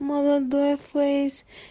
молодой фейс